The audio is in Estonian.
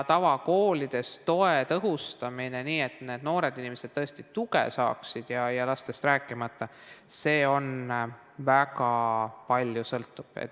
Tavakoolides toe tõhustamine nii, et need noored inimesed tõesti tuge saaksid, lastest rääkimata, sõltub väga paljust.